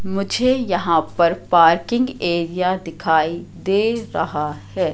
मुझे यहां पर पार्किंग एरिया दिखाई दे रहा है।